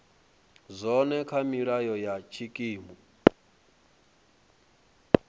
zwone kha milayo ya tshikimu